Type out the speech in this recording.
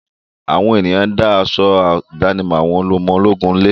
Àwọn ènìyàn pọ́n aṣọ ìdánimọ̀ àwọn ọmọ ológun lé.